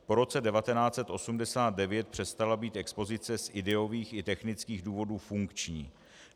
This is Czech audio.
Po roce 1989 přestala být expozice z ideových i technických důvodů funkční.